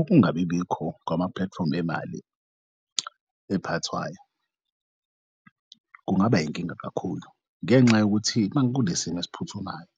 Ukungabibikho kwamapulatifomu emali ephathwayo kungaba yinkinga kakhulu, ngenxa yokuthi makunesimo esiphuthumayo